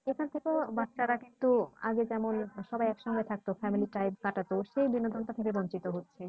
এখান থেকেও বাচ্চারা কিন্তু আগে যেমন সবাই একসঙ্গে থাকতো family time কাটাতো সেই বিনোদন টা থেকে বঞ্চিত হচ্ছে।